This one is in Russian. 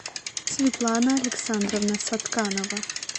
светлана александровна сатканова